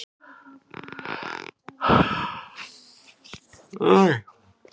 Skipta um þetta allt saman.